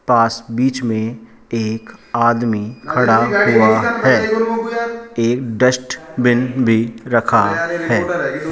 पास बीच में एक आदमी खड़ा हुआ है एक डस्टबिन भी रखा है।